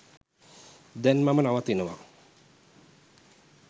දැන් මම නවතිනවා.